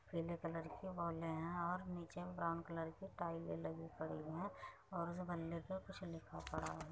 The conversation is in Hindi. पिले कलर की बॉले है और नीचे ब्राउन कलर की टाइले लगी पड़ी है और जो पर कुछ लिखा पड़ा है।